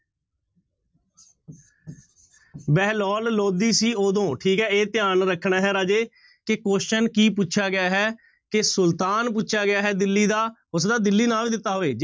ਬਹਿਲੋਲ ਲੋਧੀ ਸੀ ਉਦੋਂ ਠੀਕ ਹੈ ਇਹ ਧਿਆਨ ਰੱਖਣਾ ਹੈ ਰਾਜੇ ਕਿ question ਕੀ ਪੁਛਿਆ ਗਿਆ ਹੈ ਕਿ ਸੁਲਤਾਨ ਪੁੱਛਿਆ ਗਿਆ ਹੈ ਦਿੱਲੀ ਦਾ, ਹੋ ਸਕਦਾ ਦਿੱਲੀ ਨਾ ਵੀ ਦਿੱਤਾ ਹੋਵੇ।